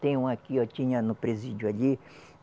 Tem um aqui, tinha no presídio ali.